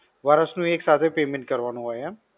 વર્ષ નું એક સાથે payment કરવાનું હોય એમ?